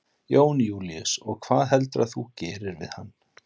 Jón Júlíus: Og hvað heldurðu að þú gerir við hann?